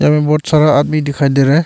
हमें बहुत सारा आदमी दिखाई दे रहा है।